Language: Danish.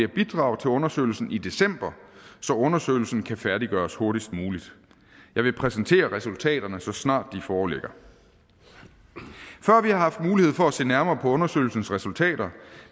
bidrag til undersøgelsen i december så undersøgelsen kan færdiggøres hurtigst muligt jeg vil præsentere resultaterne så snart de foreligger før vi har haft mulighed for at se nærmere på undersøgelsens resultater